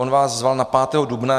On vás zval na 5. dubna.